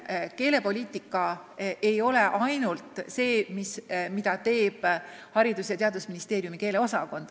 Ja keelepoliitika ei ole ainult see, mida teeb Haridus- ja Teadusministeeriumi keeleosakond.